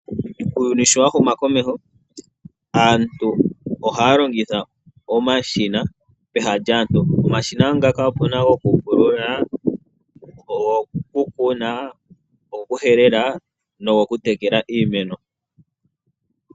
Uuyuni sho wa humu komeho aantu ohaya longitha omashina peha lyaantu. Opuna omashina gokupulula, gokukuna, gokuhelela no gokutekela iimeno.